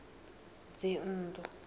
dzinnḓu